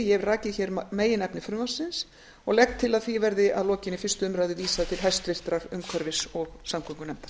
ég hef rakið meginefni frumvarpsins og legg til að því verði að lokinni fyrstu umræðu vísað til háttvirtrar umhverfis og samgöngunefndar